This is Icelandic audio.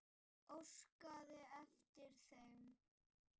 Óskaði eftir þeim?